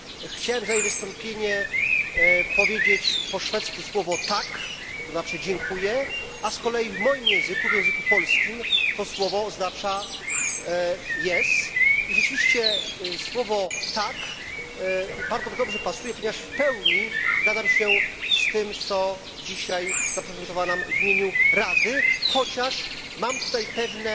Chciałbym za jej wystąpienie powiedzieć po szwedzku słowo co znaczy dziękuję, a z kolei w moim języku, w języku polskim to słowo oznacza i rzeczywiście słowo tak bardzo dobrze pasuje ponieważ w pełni zgadzam się z tym, co dzisiaj zaprezentowała nam w imieniu Rady, chociaż mam tutaj pewne